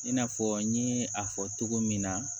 I n'a fɔ n ye a fɔ cogo min na